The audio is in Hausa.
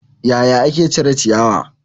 Yaya ake cire ciyawa?